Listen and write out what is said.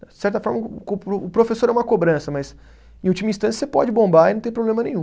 De certa forma, o co, o professor é uma cobrança, mas em última instância você pode bombar e não tem problema nenhum.